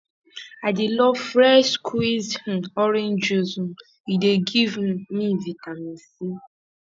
i dey love fresh squeezed um orange juice um e dey give um me vitamin c